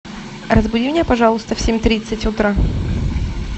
разбуди меня пожалуйста в семь тридцать утра